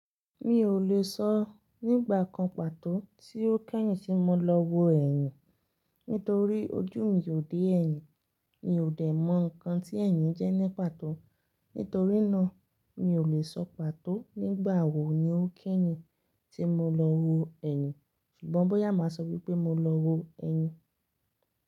Mi ò lè sọ nígbà kan pàtó tí ó kèyin tí mo lọ wo ẹ̀yìn nítorí ojú mi ò dé ẹ̀yìn. Mi ò dẹ̀ mọ ǹkan tí ẹ̀yìn jẹ́ ní pàtó. Nítorí náà, mi ò lè sọ pàtó nígbà wo ni ó kíyè tí mo lọ wo ẹ̀yìn. Ṣùgbọ́n bóyá màá sọ wípé mo lọ wo ẹ̀yìn.